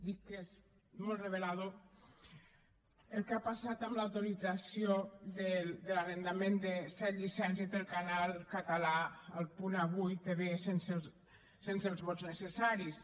dic que és molt revelador el que ha passat amb l’autorització de l’arrendament de set llicències del canal català a el punt avui tv sense els vots necessaris